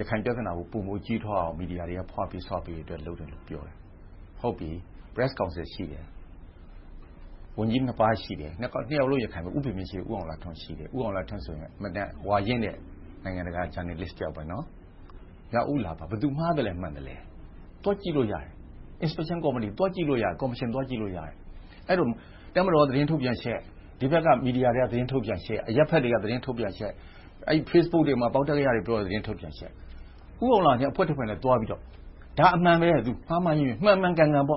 ရခိုင်ပြဿနာကို ပိုမိုကြီးထွားအောင် မီဒီယာတွေက ဖွပေး၊ ဆွပေး လုပ်တယ်လို့ ပြောတယ်။ ဟုတ်ပြီ.. .Press Council ရှိတယ်။ ဝန်ကြီးနှစ်ပါး ရှိတယ်။ နှစ်ယောက်စလုံး ရခိုင်ဖြစ်တယ် -- ဦးဖေမြင့် နဲ့ ဦးအောင်လှထွန်း ရှိတယ်။ ဦးအောင်လှထွန်းဆိုရင် ဝါရင့် နိုင်ငံတကာဂျာနယ်လစ်တယောက် ဖြစ်တယ်။ မြောက်ဦးလာပါ - ဘယ်သူမှားသလဲ၊ မှန်သလဲ သွားကြည့်လို့ရတယ်။ Inspection Committee သွားကြည့်လို့ရတယ်။ အဲဒီတော့ တပ်မတော်ရဲ့ သတင်းထုတ်ပြန်ချက်၊ ဒီဘက်က မီဒီယာတွေက သတင်းထုတ်ပြန်ချက်၊ အရပ်ဘက်တွေက သတင်းထုတ်ပြန်ချက်။ Facebook ပေါ်မှာ ပေါက်တတ်ကရတွေ ပြောတဲ့ သတင်းထုတ်ပြန်ချက်။ ဦးအောင်လှထွန်းနဲ့ အဖွဲ့တဖွဲ့ သွားပြီးတော့ ဒါကအမှန်ပဲ။ မှန်မှန်ကန်ကန် ဘာ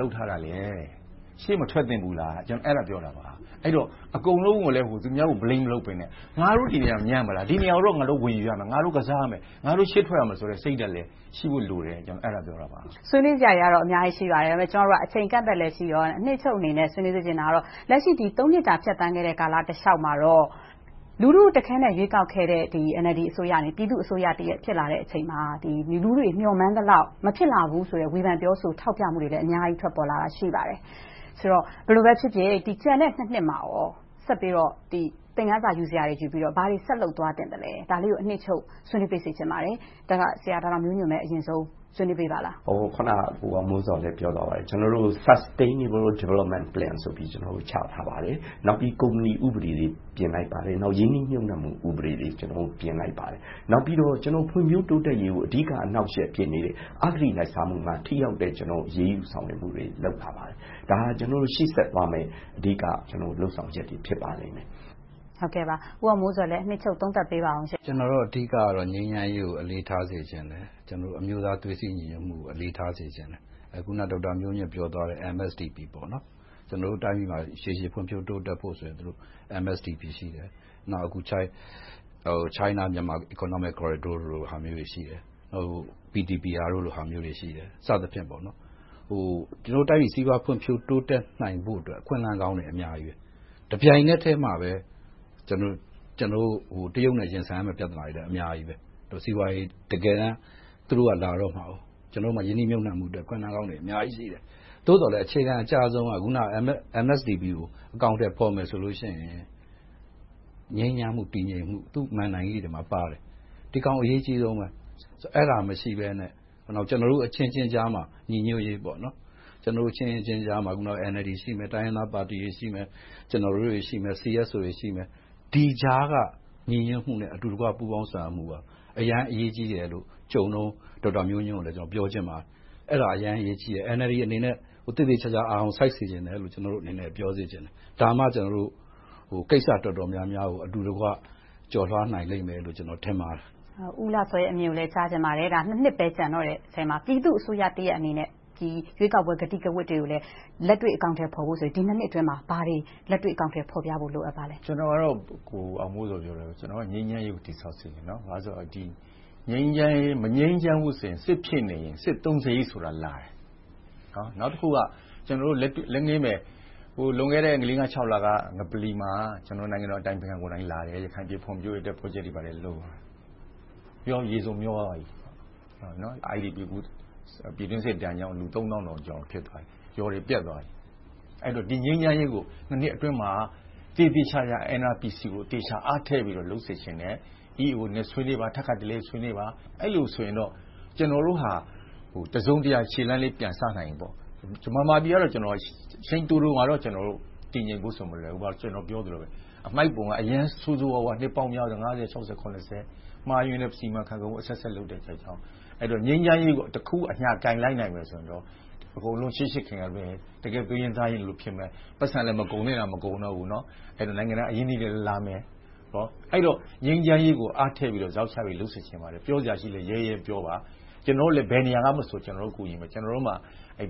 လုပ်ထားတာလဲ။ ရှေ့မထွက်သင့်ဘူးလား။ ကျနော်က အဲဒါကို ပြောတာပါ။ အဲဒီတော့ အကုန်လုံး သူများကို Blame မလုပ်ဘဲနဲ့ ငါတို့ညံ့ပါလား။ ဒီနေရာကို ငါတို့ ဝင်ယူရမယ်။ ငါတို့ ကစားရမယ်။ ငါတို့ ရှေ့ထွက်ရမယ့်ဆိုတဲ့ စိတ်ဓါတ်လည်း ရှိဖို့လိုတယ်လို့ ပြောချင်ပါတယ်။ မေး ။ ။ ဆွေးနွေးစရာတွေကတော့ အများကြီး ရှိပါတယ်။ ဒါပေမဲ့ ကျမတို့က အချိန်အကန့်အသတ်လည်း ရှိတော့ အနစ်ချုပ်အနေနဲ့ ဆွေးနွေးစေချင်တာက လက်ရှိ နှစ်တာ ဖြတ်သန်းခဲ့တဲ့ ကာလတလျှောက်မှာတော့ လူထုတခဲနက် ရွေးကောက်ခဲ့တဲ့ NLD အစိုးရ၊ ပြည်သူ့အစိုးရတရပ် ဖြစ်လာတဲ့အချိန်မှာ မျှော်မှန်းသလောက် မဖြစ်လာနိုင်ဘူးဆိုတဲ့ ဖေန်ထောက်ပြ ပြောဆိုမှုတွေလည်း အများကြီး ရှိပါတယ်။ ကျန်တဲ့ နှစ်မှာကော ဆက်ပြီးတော့ သင်ခန်းစာ ယူပြီးတော့ ဘာတွေဆက်လုပ်သွားသင့်လသဲ။ ဒါလေးကို အနှစ်ချုပ် ဆွေးနွေးပေးပါ။ ဆရာဦးမျိုးညွှန့် အရင်ဆုံးပြောပါ။ ဖြေ ။ ။ အခုနက ကိုအောင်မိုးဇော်လည်း ပြောသွားခဲ့ပါပြီ။ ကျနော်တို့က Sustainable.. ဆိုပြီး ချထားပါတယ်။ နောက်ပြီး ကုမ္ပဏီဥပဒေတွေ ပြင်လိုက်ပါတယ်။ ရင်းနှီးမြုပ်နံှမှုကို ဥပဒေတွေ ပြင်လိုက်ပါတယ်။ နောက်ပြီးတော့ ဖွံ့ဖြိုးတိုးတက်ရေးကို အဓိက အနှောင့်အယက် ဖြစ်နေတဲ့ အဂတိလိုက်စားမှုမှာ ထိရောက်တဲ့ အရေးယူဆောင်ရွက်မှုတွေ လုပ်လာပါတယ်။ ဒါက ကျနော်တို့ ရှေ့ဆက်သွားမယ့် အဓိကလုပ်ဆောင်ချက်တွေ ဖြစ်ပါတယ်။ မေး ။ ။ ဦးအောင်မိုးဇော်လည်း အနှစ်ချုပ် သုံးသပ်ပေးအုံး… ဖြေ ။ ။ ကျနော်တို့ အဓိကတော့ ငြိမ်းချမ်းရေး အလေးထားစေချင်တယ်။ အမျိုးသား သွေးစည်းညီညွှတ်မှုကို အလေးထားစေချင်တယ်။ အခုန ဒေါက်တာမျိုးညွှန့် ပြောသွားတဲ့ MSDP ကျနော်တို့တိုင်းပြည်မှာ ရေရှည်ဖွံ့ဖြိုးတိုးတက်ဖို့ MSDP ရှိတယ်။ နောက် China-Myanmar Economic Cooridor မျိုးတွေ ရှိတယ်။ PTPR တို့လို့ ရှိတယ် စသဖြင့် တိုင်းပြည်စီးပွားဖွံ့ဖြိုးတိုးတက်နိုင်ဖို့ အခွင့်အလမ်းကောင်းတွေ အများကြီး။ တပြိုင်နက်ထဲမှာပဲ ကျနော်တို့ တရုတ်နဲ့ရင်ဆိုင်ရမယ့် ပြဿနာတွေလည်း အများကြီး။ စီးပွားရေးကို တကယ်တမ်း - သူတို့က တကယ်လာတော့မှာ။ ကျနော်တို့မှာ ရင်းနှီးမြုပ်နံှမှုအတွက် အခွင့်အလမ်းကောင်းတွေ အများကြီးရှိတယ်။ သို့ပသော်လဲ အခြေခံအကျဆုံးက အခုန MSDP ကို အကောင်အထည်ဖော်မယ်ဆိုရင် ငြိမ်းချမ်းမှု၊ တည်ငြိမ်မှု သူ့မဏ္ဍိုင်ကြီးတွေမှာ ပါတယ် - ဒီအကောင် အရေးကြီးဆုံးးပဲ။ အဲဒါတွေ မရှိဘဲနဲ့ ကျနော်တို့အချင်းချင်းကြားမှာ ညီညွှတ်ရေး - NLD ပါတီရှိမယ်။ တိုင်းရင်းသားအဖွဲ့အစည်းတွေ မရှိဘူး။ ကျနော်တို့တွေ ရှိမယ်။ CSO တွေ ရှိမယ်။ ဒီကြားက ပူးပေါင်းဆောင်ရွက်မှုက အရမ်းအရေးကြီးတယ်လို့ ကြုံတုန်း ဒေါက်တာမျိုးညွှန့်ကို ပြောချင်ပါတယ်။ အဲဒါအရမ်းအရေးကြီးတယ်။ NLD အနေနဲ့ သေသေချာချာ အာရုံစိုက်စေချင်တယ်။ ဒါမှ ကိစ္စအတော်များများကို အတူတကွ ကျော်လွှာနိုင်လိမ့်မယ်လို့ ကျနော်ထင်ပါတယ်။ မေး ။ ။ ဦးဦးလှစောရဲ့ အမြင်ကိုလည်း ကြားချင်ပါတယ်။ နှစ်ပဲ ကျန်တော့တဲ့အထဲမှာ ပြည်သူ့အစိုးရတရပ်အနေနဲ့ ရွေးကောက်ပွဲ ကတိကဝတ်တွေကိုလဲ လက်တွေ့အကောင်အထည်ဖော်ဖို့ဆိုရင် ဒီ နှစ်အတွင်းမှာ ဘာတွေလက်တွေ့ အကောင်အထည်ဖော်ပြဖို့ လိုအပ်ပါလဲ။ ဖြေ ။ ။ ကျနော်ကတော့ ငြိမ်းချမ်းရေးကို တည်ဆောက်စေချင်တယ်။ မငြိမ်းချမ်းဘူးဆိုရင် စစ်ဖြစ်နေရင် စစ်သုံးစရိတ် စစ်သုံးစရိတ်ဆိုတာ လာတယ်။ နောက်တခုက လက်ငင်းပဲ လွန်ခဲ့တဲ့ လေးငါးခြောက်လက ငပလီမှာ နိုင်ငံတော်အတိုင်ပင်ခံကိုယ်တိုင်လာပြီး ရခိုင်ပြည်နယ် ဖွံ့ဖြိုးရေး ပရော်ဂျက်တွေ ဘာတွေလုပ်ပေမယ့် အခု ရေစုန်မျှောသွားပြီ။ ပြည်တွင်းစစ်ဒဏ်ကြောင့် လူသုံးသောင်းကျော် နဲ့ ရွာတွေပျက်သွားခဲ့ပြီ။ ဒီငြိမ်းချမ်းရေးကို နှစ်အတွင်းမှာ သေသေချာချာ NRPC ကို သေချာအားထည့်ပြီး လုပ်စေချင်တယ်။ EAO နဲ့ ထပ်ခါတလဲလဲ ဆွေးနွေးပါ။ အဲဒီလိုဆိုရင်တော့ ကျနော်တို့ဟာ တစုံတရာ ခြေလှမ်းလေး ပြန်စနိုင်ပြီ။ ဗမာပြည်က အချိန်တိုတိုမှာ တည်ငြိမ်ဖို့ဆိုတာ မလွယ်ဘူး။ အမှိုက်ပုံက အရမ်းဆိုးဆိုးဝါးဝါး နှစ်ပေါင်းများစွာ မှားယွင်းတဲ့ စီမံခန့်ခွဲမှုအဆက်ဆက် လုပ်တာကြောင့် ငြိမ်းချမ်းရေးကို တခုအညှာကိုင်လိုက်ရင်တော့ အကုန်လုံး ချစ်ချစ်ခင်ခင်နဲ့ တကယ့်သွေးရင်းသားရင်းလို ဖြစ်မယ်။ ပိုက်ဆံလည်း မကုန်သင့်တာ မကုန်တော့ဘူး။ နိုင်ငံတကာအရင်းအနှီးတွေ လာမယ်။ အဲဒီတော့ ငြိမ်းချမ်းရေးကို အားထည့်ပြီးတော့ ဇောက်ချပြီး လုပ်စေချင်ပါတယ်။ ပြောစရာရှိလဲ ရဲရဲပြောပါ။ ကျနော်တို့လဲ ဘယ်နေရာကမဆို ကူညီမယ်။ ကျနော်တို့မှာ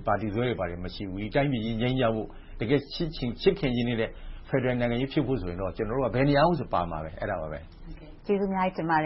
ပါတီစွဲတွေ၊ ဘာတွေ မရှိဘူး။ တိုင်းပြည်ကြီး ငြိမ်းချမ်းဖို့။ တကယ့် ချစ်ခင်ရင်းနှီးတဲ့ ဖယ်ဒရယ်နိုင်ငံကြီး ဖြစ်ဖို့ဆိုရင်တော့ ကျနော်တို့က ဘယ်နေရာမဆို ပါမယ်။ မေး ။ ။ ကျေးဇူးအများကြီးတင်ပါတ